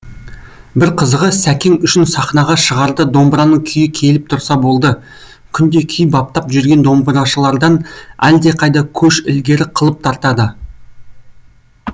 бір қызығы сәкең үшін сахнаға шығарда домбыраның күйі келіп тұрса болды күнде күй баптап жүрген домбырашылардан әлдеқайда көш ілгері қылып тартады